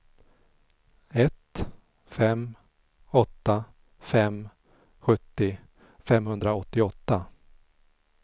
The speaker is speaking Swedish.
ett fem åtta fem sjuttio femhundraåttioåtta